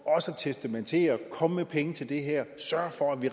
at testamentere og komme med penge til det her og sørge for at vi